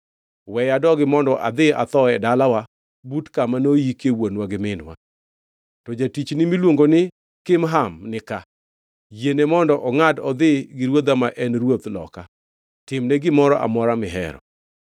Weya adogi mondo adhi atho e dalawa but kama noyikie wuonwa gi minwa. To jatichni miluongo ni Kimham nika. Yiene mondo ongʼad odhi gi ruodha ma en ruoth loka. Timne gimoro amora mihero.”